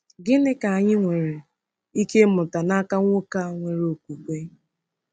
Gịnịkwa ka anyị nwere ike ịmụta n’aka nwoke a nwere okwukwe?